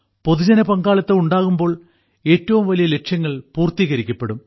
പൊതുജന പങ്കാളിത്തം ഉണ്ടാകുമ്പോൾ ഏറ്റവും വലിയ ലക്ഷ്യങ്ങൾ പൂർത്തീകരിക്കപ്പെടും